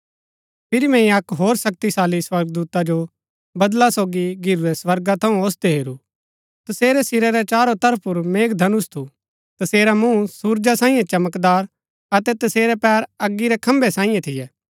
फिरी मैंई अक्क होर शक्तिशाली स्वर्गदूता जो बदला सोगी घिरूरै स्वर्गा थऊँ ओसदै हेरू तसेरै सिरा रै चारो तरफ पुर मेघधनुष थू तसेरा मूँह सुरजा सांईये चमकदार अतै तसेरै पैर अगी रै खंभै सांईये थियै